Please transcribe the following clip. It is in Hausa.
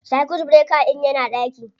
Circuit breaker ɗin yana ɗaki